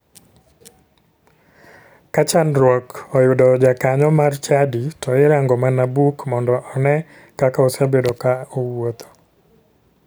Ka chandruok oyudo jakanyo mar chadi to irango mana buk mondo one kaka osebedo ka owuotho.